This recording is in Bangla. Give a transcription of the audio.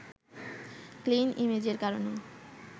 ক্লিন ইমেজের কারণে